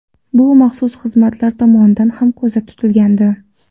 Bu maxsus xizmatlar tomonidan ham ko‘zda tutilgandi.